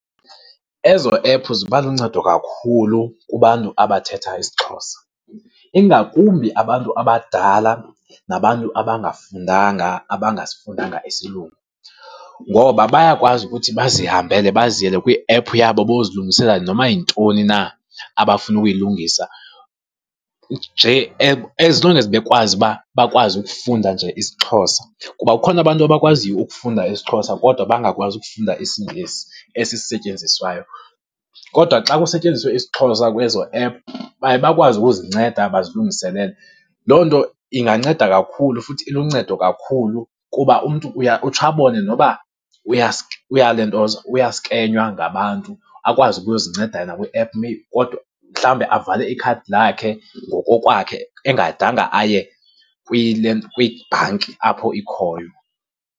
Ezo ephu ziba luncedo kakhulu kubantu abathetha IsiXhosa, ingakumbi abantu abadala nabantu abangafundanga, abangasifundanga isilungu. Ngoba bayakwazi ukuthi bazihambele baziyele kwiephu yabo bayozilungisela noba yintoni na abafuna ukuyilungisa, nje as long as bekwazi uba bakwazi ukufunda nje isiXhosa. Kuba kukhona abantu abakwaziyo ukufunda isiXhosa kodwa bangakwazi ukufunda isiNgesi, esi setyenziswayo, kodwa xa kusetyenziswe isiXhosa kwezo ephu baye bakwazi ukuzinceda bazilungiselele. Loo nto inganceda kakhulu futhi iluncedo kakhulu kuba umntu utsho abone noba uyalentoza, uyaskenywa ngabantu, akwazi ukuzinceda yena kwi aphu kodwa, mhlawumbi avale ikhadi lakhe ngokokwakhe engadanga aye kwibhanki apho ikhoyo.